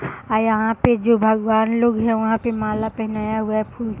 आ यहाँ पे जो भगवान लोग हैं वहाँ पे माला पेहनाया हुआ है फूल --